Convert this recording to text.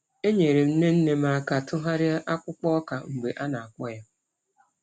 Enyere m nne nne m aka tụgharịa ọkpụkpụ ọka mgbe a na-akpọọ ya.